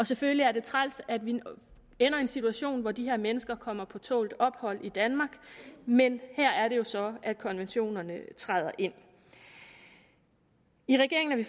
selvfølgelig er det træls at vi ender i en situation hvor de her mennesker kommer på tålt ophold i danmark men her er det jo så at konventionerne træder ind i regeringen er